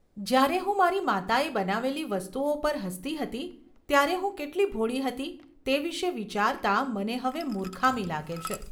જ્યારે હું મારી માતાએ બનાવેલી વસ્તુઓ પર હસતી હતી, ત્યારે હું કેટલી ભોળી હતી તે વિશે વિચારતા મને હવે મૂર્ખામી લાગે છે.